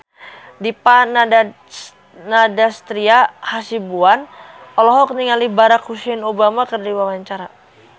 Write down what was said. Dipa Nandastyra Hasibuan olohok ningali Barack Hussein Obama keur diwawancara